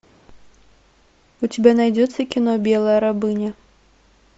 у тебя найдется кино белая рабыня